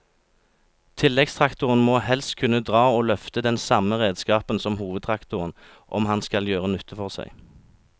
Tilleggstraktoren må helst kunne dra og løfte den samme redskapen som hovedtraktoren om han skal gjøre nytte for seg.